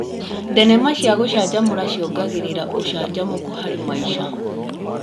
Thenema cia gũcanjamũra ciongagĩrĩra ũcanjamũku harĩ maica.